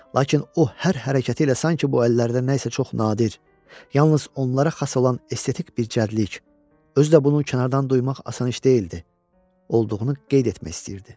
Lakin o hər hərəkəti ilə sanki bu əllərdə nə isə çox nadir, yalnız onlara xas olan estetik bir zəriflik, özü də bunun kənardan duymaq asan iş deyildi, olduğunu qeyd etmək istəyirdi.